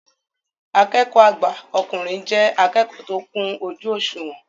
Akẹ́kọ̀ọ́ àgbà ọkùnrin jẹ́ akẹ́kọ̀ọ́ tó kún ojú òṣùwọ̀n